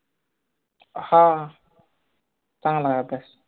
हां चांगलाय अभ्यास